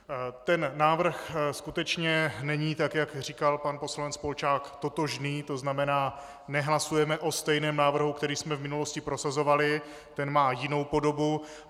Ten návrh skutečně není, tak jak říkal pan poslanec Polčák, totožný, to znamená, nehlasujeme o stejném návrhu, který jsme v minulosti prosazovali, ten má jinou podobu.